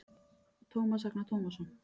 Tómas Agnar Tómasson